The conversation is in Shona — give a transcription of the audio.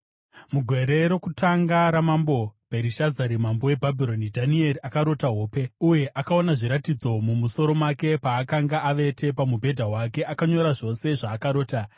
Mugore rokutanga ramambo Bherishazari, mambo weBhabhironi, Dhanieri akarota hope, uye akaona zviratidzo mumusoro make paakanga avete pamubhedha wake. Akanyora zvose zvaakarota.